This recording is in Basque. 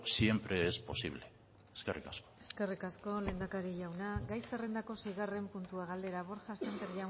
siempre es posible eskerrik asko eskerrik asko lehendakari jauna gai zerrendako seigarren puntua galdera borja sémper